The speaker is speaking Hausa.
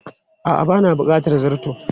A'a ba na bukatar zarto.